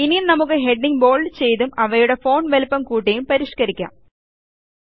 ഇനി നമുക്ക് headings bold ചെയ്തും അവയുടെ ഫോണ്ട് വലിപ്പം കൂട്ടിയും പരിഷ്കരിക്കാം